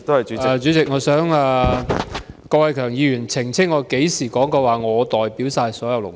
主席，我想郭偉强議員澄清，我甚麼時候說過，我可以代表所有勞工？